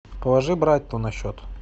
положи брату на счет